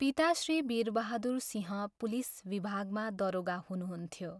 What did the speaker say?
पिता श्री वीरबहादुर सिंह पुलिस विभागमा दरोगा हुनुहुन्थ्यो।